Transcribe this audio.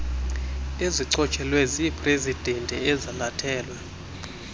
ezichotshelwe ziiprezidanti ezalathelwe